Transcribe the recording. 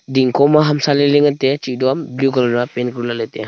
dingkho ma hamsa lailai ngan taiya cheto a blue colour ra pain kori lahley taiya.